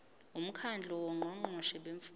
umkhandlu wongqongqoshe bemfundo